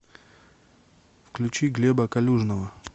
включи глеба калюжного